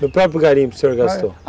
No próprio garimpo o senhor gastou?